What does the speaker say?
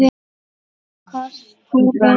Ekkert kostar inn.